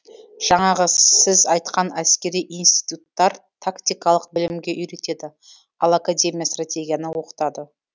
жаңағы сіз айтқан әскери институттар тактикалық білімге үйретеді ал академия стратегияны оқытады